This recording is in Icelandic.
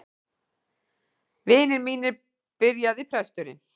Vinir mínir, byrjaði presturinn.